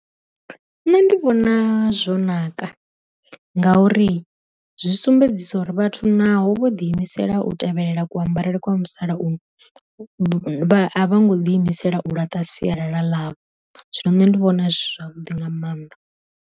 Nṋe ndi vhona zwo naka ngauri zwi sumbedzisa uri vhathu naho vho ḓi imisela u tevhelela ku ambarele kwa muthu sala uno, a vho ngo ḓi imisela u laṱa sialala ḽavho, zwino nṋe ndi vhona zwi zwavhuḓi nga maanḓa.